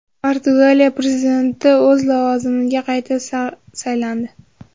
Portugaliya prezidenti o‘z lavozimiga qayta saylandi.